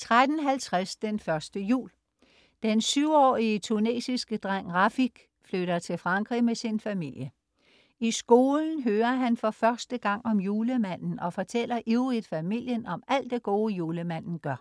13.50 Den første jul. Den syvårige tunesiske dreng Rafik flytter til Frankrig med sin familie. I skolen hører han for første gang om julemanden og fortæller ivrigt familien om alt det gode, julemanden gør